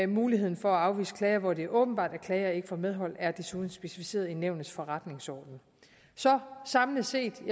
muligheden for at afvise klager hvor det er åbenbart at klager ikke får medhold er desuden specificeret i nævnets forretningsorden så samlet set vil